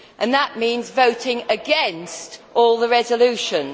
That means voting against all the resolutions.